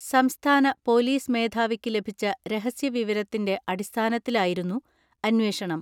സംസ്ഥാന പൊലീസ് മേധാവിക്ക് ലഭിച്ച രഹസ്യ വിവരത്തിന്റെ അടിസ്ഥാനത്തിലായിരുന്നു അന്വേഷണം.